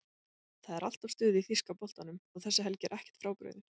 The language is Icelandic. Það er alltaf stuð í þýska boltanum og þessi helgi er ekkert frábrugðin.